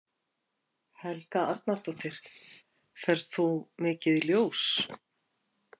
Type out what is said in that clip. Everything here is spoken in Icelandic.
Helga Arnardóttir: Ferð þú mikið í ljós?